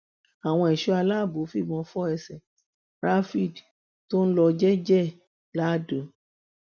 àwọn ẹṣọ aláàbò fìbọn fọ ẹsẹ rafield tó ń lọ jẹẹjẹ ẹ ladọ